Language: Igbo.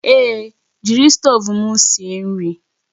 Èé, jiri stovu m sie nri